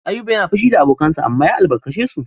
Ayuba yana fushi da abokansa amma ya albarkace su.